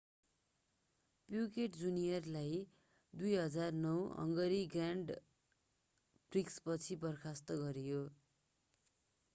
Piquet जुनियरलाई 2009 Hungary grand प्रिक्सपछि बर्खास्त गरियो